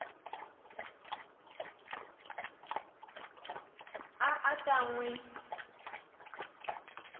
a a ta n wi